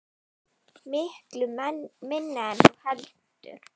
Miklu minna en þú heldur.